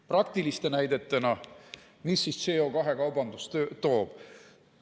Praktiliste näidetena, mida siis CO2 kaubandus kaasa toob?